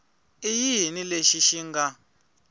i yini lexi xi nga